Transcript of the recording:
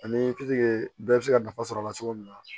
Ani bɛɛ bɛ se ka nafa sɔrɔ a la cogo min na